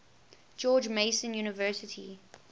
george mason university